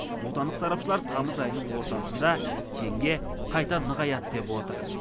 отандық сарапшылар тамыз айының ортасында теңге қайта нығаяды деп отыр